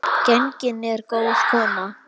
Gengin er góð kona.